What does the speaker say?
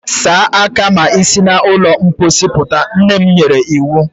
Saa aka gị ma i si na ụlọ mposi puta! Nne m nyere iwu.